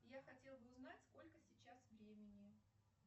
я хотел бы узнать сколько сейчас времени